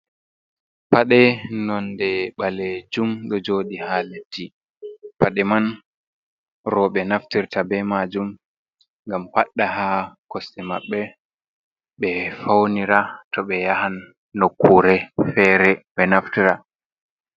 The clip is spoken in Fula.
Paɗe nonde ɓalejum ɗo joɗi haa leddi. Paɗe man rooɓe naftirta be maajum, ngam paɗɗa haa kosɗe maɓɓe. Ɓe faunira, to ɓe yahan nukkuure feere ɓe naftira.